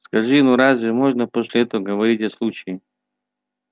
скажи ну разве можно после этого говорить о случае